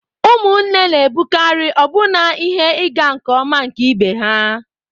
Ụmụnne na-abụkarị ọbụna ihe ịga nke ọma nke ibe ha.